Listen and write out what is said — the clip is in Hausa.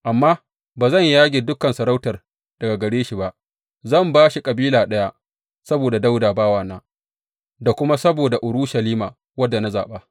Amma ba zan yage dukan masarautar daga gare shi ba, zan ba shi kabila ɗaya saboda Dawuda bawana, da kuma saboda Urushalima, wadda na zaɓa.